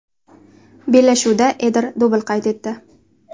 Bellashuvda Eder dubl qayd etdi.